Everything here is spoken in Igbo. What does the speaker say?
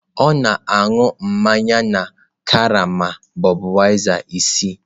Ọ na-aṅụ mmanya na karama Budweiser isii.